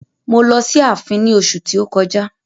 Mo lọ sí ààfin ní oṣu tí ó kọjá.